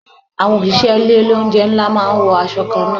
Àwọn òṣìṣẹ́ ilé oúnjẹ ńlá máa ń wọ aṣọ kan náà.